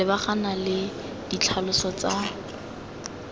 go lebagana le ditlhaloso tsa